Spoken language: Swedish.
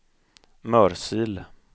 Mörsil